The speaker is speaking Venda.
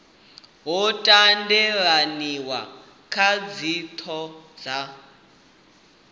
ho tendelaniwa kha dzithoho dza